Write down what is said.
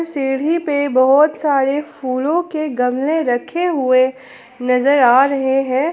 सीढ़ी पे बहुत सारे फूलों के गमले रखे हुए नजर आ रहे हैं।